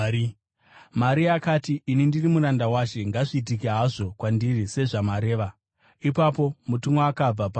Maria akati, “Ini ndiri muranda waShe. Ngazviitike hazvo kwandiri sezvamareva.” Ipapo mutumwa akabva paari.